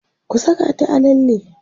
ku Saka ta a lalle!